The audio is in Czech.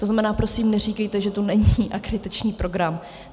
To znamená, prosím, neříkejte, že to není akreditační program.